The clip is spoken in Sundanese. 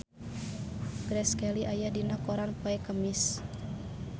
Grace Kelly aya dina koran poe Kemis